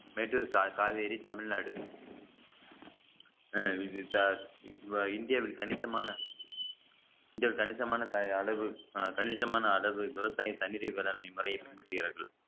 மேட்டூர் கா~ காவேரி தமிழ்நாடு அஹ் இந்தியாவில் கணிசமான மிக கணிசமான அளவு கணிசமான அளவு விவசாய தண்ணீர் மேலாண்மை முறைய பின்பற்றுகிறார்கள்